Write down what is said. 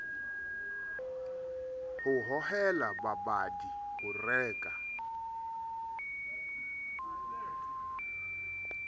ho hohela babadi ho reka